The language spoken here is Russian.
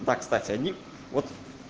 да кстати они вот